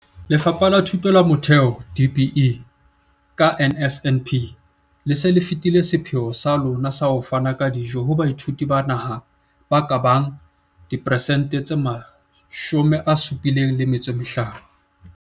Lefapha la Thuto ya Motheo, DBE, ka NSNP, le se le fetile sepheo sa lona sa ho fana ka dijo ho baithuti ba naha ba ka bang diperesente tse 75.